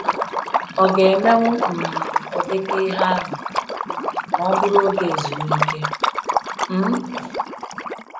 Ọ ga emewu um ụdịka ihe ahụ um ma ọ bụrụ oge ezumike? um